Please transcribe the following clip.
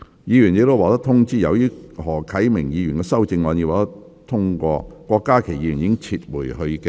議員已獲通知，由於何啟明議員的修正案獲得通過，郭家麒議員已撤回他的修正案。